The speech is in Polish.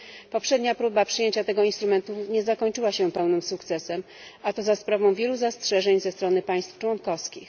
Poprzednia próba przyjęcia tego instrumentu nie zakończyła się pełnym sukcesem, a to za sprawą wielu zastrzeżeń ze strony państw członkowskich.